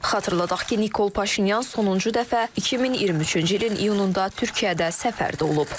Xatırladaq ki, Nikol Paşinyan sonuncu dəfə 2023-cü ilin iyununda Türkiyədə səfərdə olub.